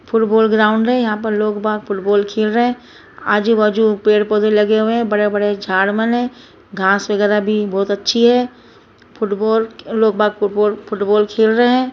Football ground है यहाँ लोग बाग फुटबाल खेल रहे है आजू बाजू पेड़ पोधे लगे हुए है बड़े-बड़े झाड़ मन है घास वगैरा भी बहोत अच्छी है फुटबाल लोग बाग फुटबाल फुटबाल खेल रहे है।